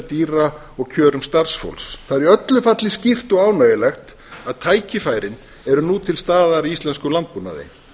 dýra og kjörum starfsfólks það er í öllu falli skýrt og ánægjulegt að tækifærin eru nú til staðar í íslenskum landbúnaði